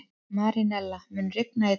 Marínella, mun rigna í dag?